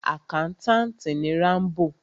Àkántàntì ni Rámbò.